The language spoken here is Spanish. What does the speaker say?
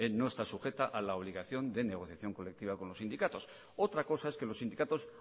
no está sujeta a la obligación de negociación colectiva con los sindicatos otra cosa es que los sindicatos